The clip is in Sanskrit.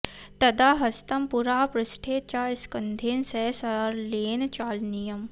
तदा हस्तं पुरः पृष्ठे च स्कन्धेन सह सारल्येन चालनीयम्